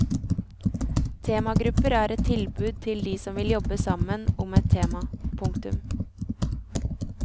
Temagrupper er et tilbud til de som vil jobbe sammen om et tema. punktum